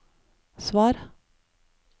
svar